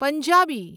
Punjabi